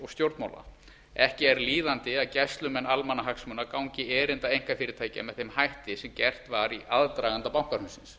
stjórnmála ekki er líðandi að gæslumenn almannahagsmuna gangi erinda einkafyrirtækja með þeim hætti sem gert var í aðdraganda bankahrunsins